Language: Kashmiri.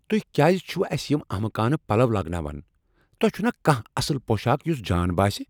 تُہۍ کیاز چھو اسہِ یم احمقانہ پلو لاگناوان؟ تۄہہ چھُنا کانہہ اصل پوشاك یُس جان باسہِ ؟